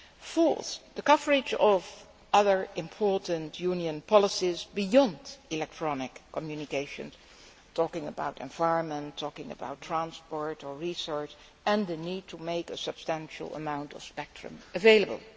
Fourthly, the coverage of other important Union policies beyond electronic communications here, I am talking about the environment, transport or research and the need to make a substantial amount of spectrum available.